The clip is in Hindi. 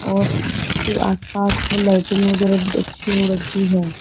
और उसके आस पास में लाइटिंग वगैरह बहोत अच्छी हो रखी है।